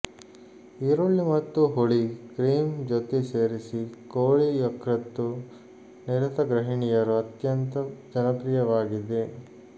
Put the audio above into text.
ಈರುಳ್ಳಿ ಮತ್ತು ಹುಳಿ ಕ್ರೀಮ್ ಜೊತೆ ರೆಸಿಪಿ ಕೋಳಿ ಯಕೃತ್ತು ನಿರತ ಗೃಹಿಣಿಯರು ಅತ್ಯಂತ ಜನಪ್ರಿಯವಾಗಿದೆ